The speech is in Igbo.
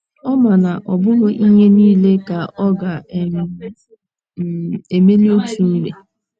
Ọ ma na ọ bụghị ihe niile ka ọ ga um - um - emeli otu mgbe.